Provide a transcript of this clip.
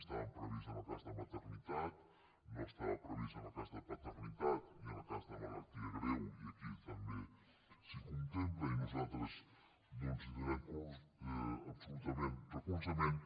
estava previst en el cas de maternitat no estava previst en el cas de paternitat ni en el cas de malaltia greu i aquí també s’hi contempla i nosaltres doncs hi donem absolutament recolzament